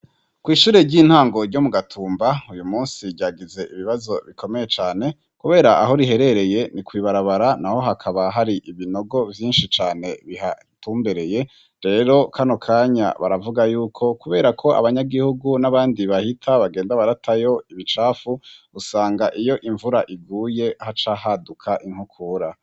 Kw'ishure ry'intango ryo mu Gatumba, uyu musi ryagize ibibazo bikomeye cane, kubera aho riherereye ni kw'ibarabara, na ho hakaba hari ibinogo vyinshi cane bihatumbereye, rero kano kanya baravuga y'uko, kubera ko abanyagihugu n'abandi bahita bagenda baratayo ibicafu, usanga iyo imvura iguye haca haduka inkukura.